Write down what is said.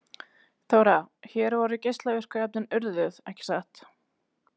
Þóra: Hér voru geislavirku efnin urðuð, ekki satt?